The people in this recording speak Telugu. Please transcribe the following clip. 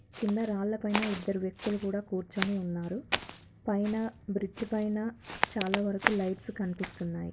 కింద రాళ్ల పైన ఇద్దరు వ్యక్తులు కూడా కూర్చొని ఉన్నారు. పైన బ్రిడ్జ్ పైన చాలా వరకు లైట్స్ కనిపిస్తున్నాయి.